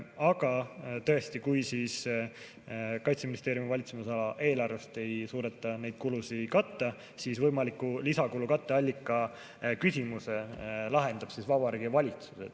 Aga tõesti, kui Kaitseministeeriumi valitsemisala eelarvest ei suudeta neid kulusid katta, siis võimaliku lisakulu katteallika küsimuse lahendab Vabariigi Valitsus.